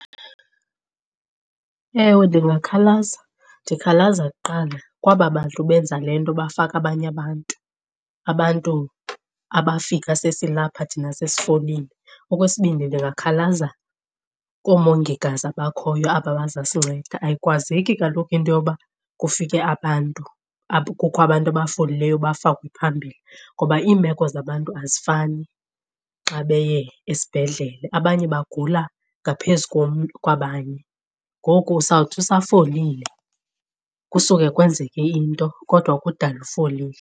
Ewe, ndingakhalaza, ndikhalaza kuqala kwaba bantu benza le nto bafaka abanye abantu, abantu abafika sesilapha thina sesifolile. Okwesibini, ndingakhalaza koomongikazi abakhoyo aba bazasinceda. Ayikwazeki kaloku into yoba kufike abantu kukho abantu abafolileyo bafakwe phambili. Noba iimeko zabantu azifani xa beye esibhedlele, abanye bagula ngaphezu kwabanye. Ngoku sawuthi usafolile kusuke kwenzeke into kodwa kudala ufolile.